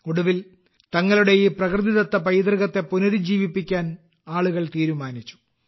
ഒടുവിൽ തങ്ങളുടെ ഈ പ്രകൃതിദത്ത പൈതൃകത്തെ പുനരുജ്ജീവിപ്പിക്കാൻ ആളുകൾ തീരുമാനിച്ചു